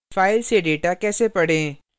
file में data कैसे पढें